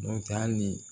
N'o tɛ hali